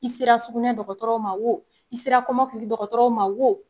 I sera sugunɛ dɔgɔtɔrɔw ma wo i sera kɔmɔma kili dɔgɔtɔrɔw ma wo